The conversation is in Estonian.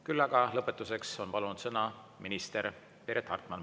Küll aga lõpetuseks on palunud sõna minister Piret Hartman.